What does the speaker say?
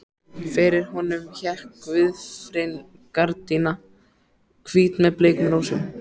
Fyrir honum hékk gauðrifin gardína, hvít með bleikum rósum.